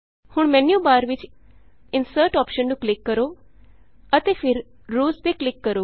ਹੁਣ ਮੈਨਯੂਬਾਰ ਵਿਚ insert insert option ਨੂੰ ਕਲਿਕ ਕਰੋ ਅਤੇ ਫਿਰ ਰੋਜ਼ ਰੋਜ਼ ਤੇ ਕਲਿਕ ਕਰੋ